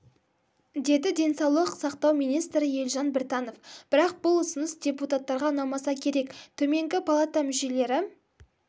деді денсаулық сақтау министрі елжан біртанов бірақ бұл ұсыныс депутаттарға ұнамаса керек төменгі палата мүшелері